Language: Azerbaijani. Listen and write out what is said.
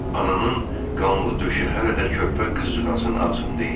Ananın qanlı döşü hələ də körpə qızcığazın ağzında idi.